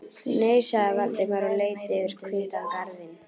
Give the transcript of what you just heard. Nei- sagði Valdimar og leit yfir hvítan garðinn.